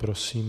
Prosím.